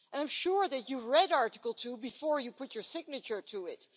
And I'm sure that you read Article 2 before you put your signature to it.